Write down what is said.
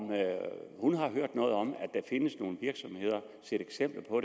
hun har hørt noget om eller set eksempler på